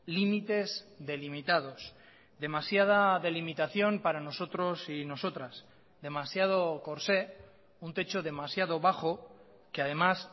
límites delimitados demasiada delimitación para nosotros y nosotras demasiado corsé un techo demasiado bajo que además